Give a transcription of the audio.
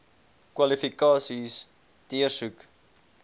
kwalifikasies deursoek